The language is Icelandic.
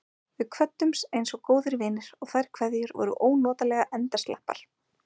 Við kvöddumst einsog góðir vinir, og þær kveðjur voru ónotalega endasleppar.